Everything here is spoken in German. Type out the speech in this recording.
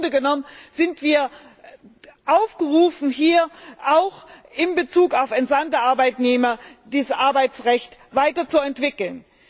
im Grunde genommen sind wir aufgerufen, hier auch in Bezug auf entsandte Arbeitnehmer das Arbeitsrecht weiterzuentwickeln.